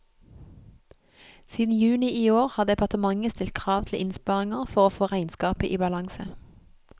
Siden juni i år har departementet stilt krav til innsparinger for å få regnskapet i balanse.